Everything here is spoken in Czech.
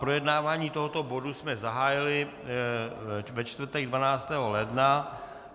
Projednávání tohoto bodu jsme zahájili ve čtvrtek 12. ledna.